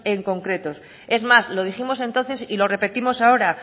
en concreto es más lo dijimos entonces y lo repetimos ahora